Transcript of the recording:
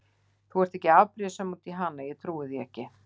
Þú ert ekki afbrýðisöm út í hana, ég trúi því ekki!